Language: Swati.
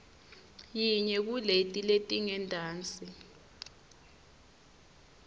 yinye kuleti letingentasi